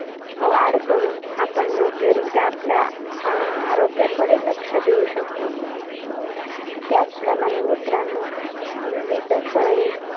वाढ करून, आपण योग्य रीत्या आपल्या अं आरोग्याकडे लक्ष देऊ शकतो. त्याचप्रमाणे मित्रांनो, विविधं फळे,